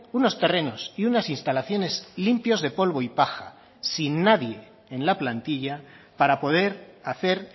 unos terrenos y unas instalaciones limpios de polvo y paja sin nadie en la plantilla para poder hacer